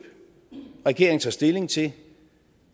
regeringen tager stilling til